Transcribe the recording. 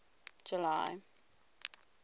july